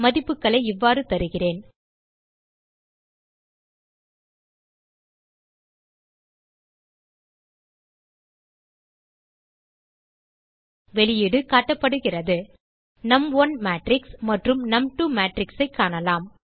மதிப்புகளை இவ்வாறு தருகிறேன் வெளியீடு காட்டப்படுகிறது நும்1 மேட்ரிக்ஸ் மற்றும் நும்2 matrixஐ காணலாம்